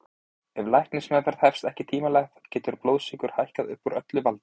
Ef læknismeðferð hefst ekki tímanlega getur blóðsykur hækkað upp úr öllu valdi.